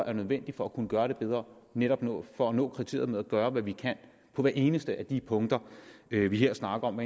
er nødvendigt for at kunne gøre det bedre netop for at nå kriteriet med at gøre hvad vi kan på hvert eneste af de punkter vi vi her snakker om